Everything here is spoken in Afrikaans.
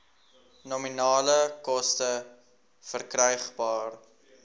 nominale koste verkrygbaar